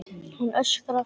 Hann öskrar.